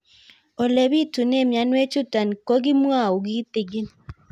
Ole pitune mionwek chutok ko kimwau kitig'ín